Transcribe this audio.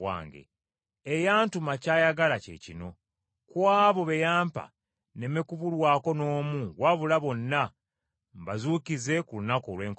Eyantuma ky’ayagala kye kino: Ku abo be yampa nneme kubulwako n’omu wabula bonna mbazuukize ku lunaku olw’enkomerero.